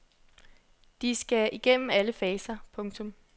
De skal igennem alle faser. punktum